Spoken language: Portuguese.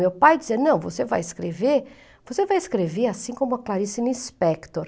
Meu pai dizia, não, você vai escrever você vai escrever assim como a Clarice Nispector.